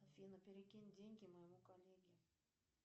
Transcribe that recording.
афина перекинь деньги моему коллеге